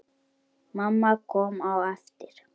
Mamma kom á eftir.